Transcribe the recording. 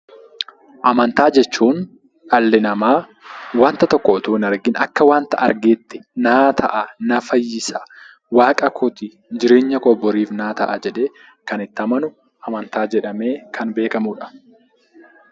Amantaa jechuun dhalli namaa waanta tokko otoo hin argiin akka waanta argeetti naa ta'a, na fayyisa, waaqakooti, jireenya koo boriif naa ta'a jedhee kan itti amanu amantaa jedhamee kan beekamudha.